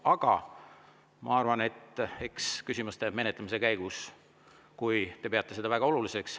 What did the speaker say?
Aga ma arvan, et eks küsimuste käigus, kui te peate seda väga oluliseks …